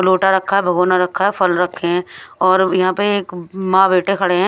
लोटा रखा है भगोना रखा है फल रखे हैं और यहां पर एक मां बेटे खड़े हैं।